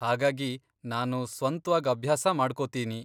ಹಾಗಾಗಿ ನಾನು ಸ್ವಂತ್ವಾಗ್ ಅಭ್ಯಾಸ ಮಾಡ್ಕೋತೀನಿ.